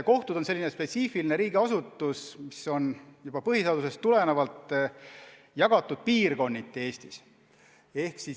Kohtud on sellised spetsiifilised riigiasutused, mis on juba põhiseadusest tulenevalt Eestis piirkonniti jagatud.